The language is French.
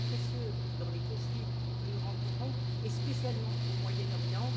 C'est précieux dans les conflits que nous rencontrons, et spécialement au Moyen Orient.